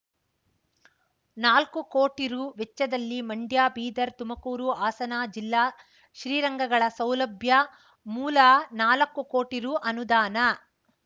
ನಾಲ್ಕು ಕೋಟಿ ರೂ ವೆಚ್ಚದಲ್ಲಿ ಮಂಡ್ಯ ಬೀದರ್ ತುಮಕೂರು ಹಾಸನ ಜಿಲ್ಲಾ ಶ್ರೀರಂಗಗಳ ಸೌಲಭ್ಯ ಮೂಲ ನಾಲಕ್ಕುಕೋಟಿ ರೂ ಅನುದಾನ